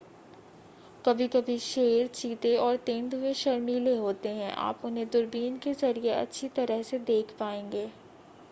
कभी-कभी शेर चीते और तेंदुए शर्मीले होते हैं आप उन्हें दूरबीन के ज़रिए अच्छी तरह से देख पाएंगे